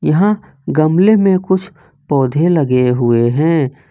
यहां गमले में कुछ पौधे लगे हुए हैं।